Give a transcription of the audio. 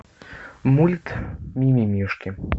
мульт ми ми мишки